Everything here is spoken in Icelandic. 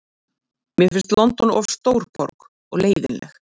Mér finnst London of stór borg og leiðinleg.